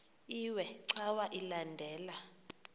iwe cawa elandela